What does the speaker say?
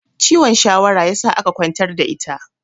Ciwon shawara ya sa aka ƙwantar da ita